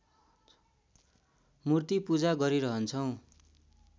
मूर्ति पूजा गरिरहन्छौँ